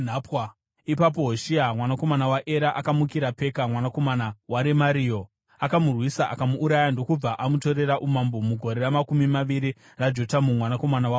Ipapo Hoshea mwanakomana waEra akamukira Peka, mwanakomana waRemario. Akamurwisa akamuuraya ndokubva amutorera umambo mugore ramakumi maviri raJotamu mwanakomana waUzia.